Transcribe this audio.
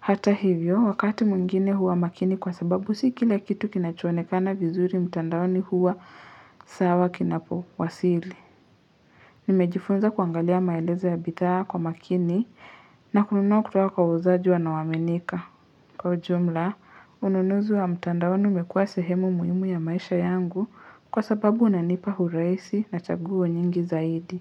hata hivyo wakati mwngine huwa makini kwa sababu si kila kitu kinachonekana vizuri mtandaoni huwa sawa kinapo wasili nimejifunza kuangalia maelezo ya bidhaa kwa makini na kununua kutuka kwa wauzajji wanaoaminika kwa ujumla ununuzu wa mtandaoni umekua sehemu muhimu ya maisha yangu kwa sababu unanipa huraisi na chaguo nyingi zaidi.